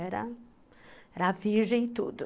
Era virgem e tudo.